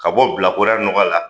Ka bɔ bilakoraya ɲɔgɔ la